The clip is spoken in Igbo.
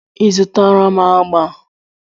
I zutara m agba?